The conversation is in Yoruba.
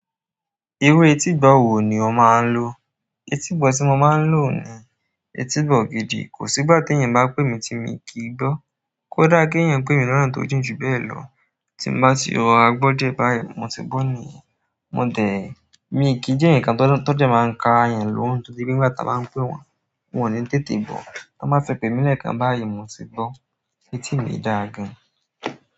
Iru etí gbọ wò ni o máa ń lò? Etí gbọ tí mo máa ń lò ni etí gbọ gìdì. Kò sí ìgbà tí ẹ̀yin máa pè mí tí mi kì í gbọ́. Kódà ki èèyàn pè mí ní ọnà tó jìn ju bẹ́ẹ̀ lọ, tí n bá ti rọra gbọ́ dié bá yìí, mo ti gbọ́ nìyẹn. Mi kì í jẹ èèyàn kan tó dẹ̀ máa ń ka ẹ̀eyàn lọ́hùn torí pe nígbà táa báa ń pè wọ́n, wọn ò ní tètè gbọ́. Táa báa fi pè mi lẹ́ẹ̀kan báyìí, mo ti gbọ́, etí mi dáa gan.